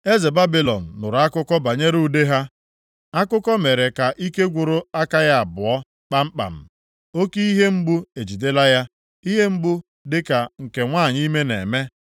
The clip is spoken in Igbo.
Eze Babilọn nụrụ akụkọ banyere ude ha, akụkọ mere ka ike gwụrụ aka ya abụọ kpamkpam. Oke ihe mgbu ejidela ya, ihe mgbu dịka nke nwanyị ime na-eme.